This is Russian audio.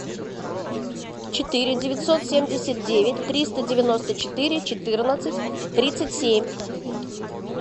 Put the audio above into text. четыре девятьсот семьдесят девять триста девяносто четыре четырнадцать тридцать семь